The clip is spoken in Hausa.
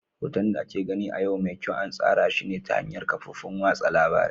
Hoton da ake gani a yau mai kyau an tsara shi ne ta hanyar kafofin watsa labarai.